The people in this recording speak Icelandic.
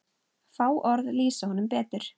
Fá orð lýsa honum betur.